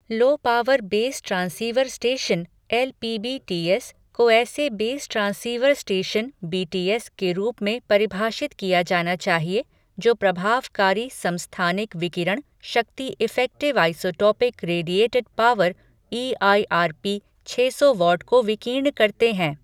लो power base transceiver station LPBTS को ऐसे base transceiver station BTS के रूप में परिभाषित किया जाना चाहिए जो प्रभावकारी समस्थानिक विकिरण शक्ति effective isotropic radiated power EIRP छः सौ वाट को विकीर्ण करते हैं।